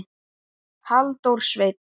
Halldór Sveinn.